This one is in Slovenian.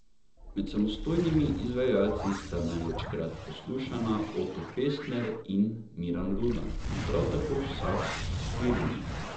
Med samostojnimi izvajalci sta največkrat poslušana Oto Pestner in Miran Rudan, prav tako vsak s štirimi.